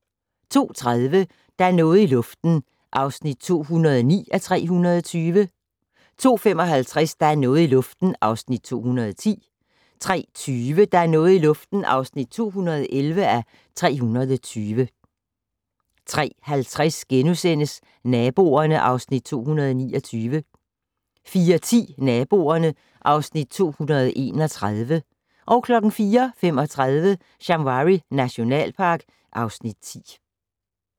02:30: Der er noget i luften (209:320) 02:55: Der er noget i luften (210:320) 03:20: Der er noget i luften (211:320) 03:50: Naboerne (Afs. 229)* 04:10: Naboerne (Afs. 231) 04:35: Shamwari nationalpark (Afs. 10)